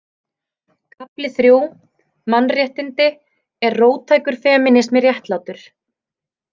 Kafli III: Mannréttindi Er róttækur femínismi réttlátur?